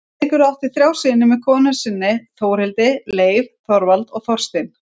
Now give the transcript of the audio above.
Eiríkur átti þrjá syni með konu sinni Þjóðhildi, Leif, Þorvald og Þorstein.